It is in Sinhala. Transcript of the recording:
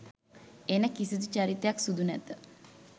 එන කිසිදු චරිතයක් සුදු නැත.